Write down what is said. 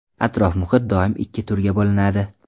Atrof muhit doim ikki turga bo‘linadi.